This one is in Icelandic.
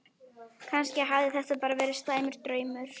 Kannski hafði þetta bara verið slæmur draumur.